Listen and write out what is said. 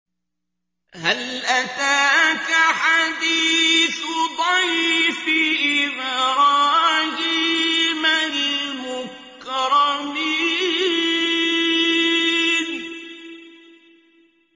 هَلْ أَتَاكَ حَدِيثُ ضَيْفِ إِبْرَاهِيمَ الْمُكْرَمِينَ